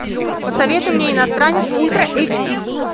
посоветуй мне иностранец ультра эйч ди